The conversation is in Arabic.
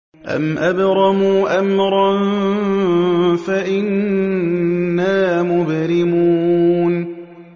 أَمْ أَبْرَمُوا أَمْرًا فَإِنَّا مُبْرِمُونَ